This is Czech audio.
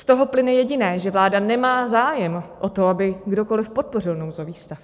Z toho plyne jediné, že vláda nemá zájem o to, aby kdokoli podpořil nouzový stav.